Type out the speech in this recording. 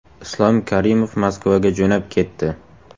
Islom Karimov Moskvaga jo‘nab ketdi.